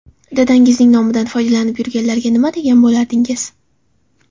Dadangizning nomidan foydalanib yurganlarga nima degan bo‘lardingiz?